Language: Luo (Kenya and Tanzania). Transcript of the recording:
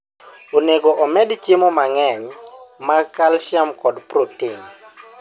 Onego omed chiemo mang'eny mag calcium kod protein.